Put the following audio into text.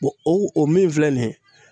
o o min filɛ nin ye